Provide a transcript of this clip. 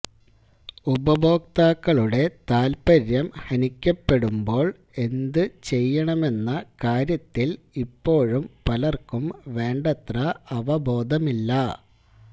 ഉപഭോക്താക്കളുടെ താല്പര്യം ഹനിക്കപ്പെടുമ്പോള് എന്ത് ചെയ്യണമെന്ന കാര്യത്തില് ഇപ്പോഴും പലര്ക്കും വേണ്ടത്ര അവബോധമില്ല